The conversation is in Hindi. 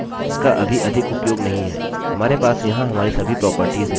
इसका अभी अधिक उपयोग नहीं है